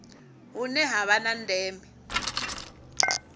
hune ha vha na ndeme